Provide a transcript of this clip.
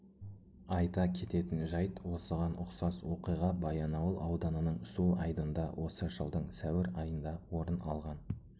айта кететін жайт осыған ұқсас оқиға баянауыл ауданының су айдында осы жылдың сәуір айында орын алған